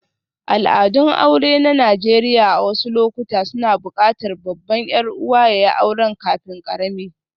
Al'adun aure na Najeriya a wasu lokuta suna buƙatar babban 'yar'uwa ya yi aure kafin ƙarami.